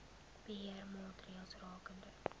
beheer maatreëls rakende